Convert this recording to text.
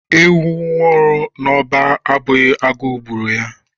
Ewu nwuru n’ọba Ọ bụghị agụụ gburu ya